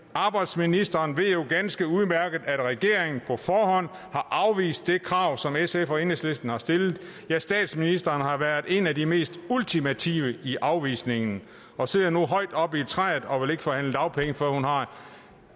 arbejdsministeren ved jo ganske udmærket at regeringen på forhånd har afvist det krav som sf og enhedslisten har stillet ja statsministeren har været en af de mest ultimative i afvisningen af og sidder nu højt oppe i træet og vil ikke forhandle dagpenge før hun har